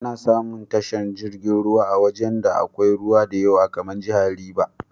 Ana samun tashar jirgin ruwan a wajan da akwai ruwa diyawa kamar jahar River.